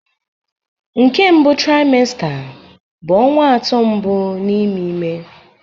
Nke mbụ trimester bụ ọnwa atọ mbụ n'ime ime